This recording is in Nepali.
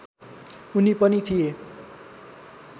उनी पनि थिए